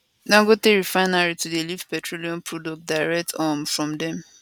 dangote refinery to dey lift petroleum products direct um from dem